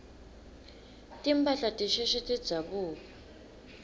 timphahla tisheshe tidzabuke